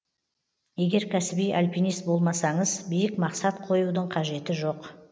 егер кәсіби альпинист болмасаңыз биік мақсат қоюдың қажеті жоқ